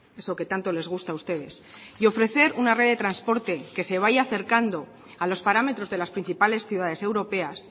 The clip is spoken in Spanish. eso que tanto les gusta a ustedes y ofrecer una red de transporte que se vaya acercando a los parámetros de las principales ciudades europeas